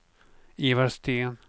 Ivar Sten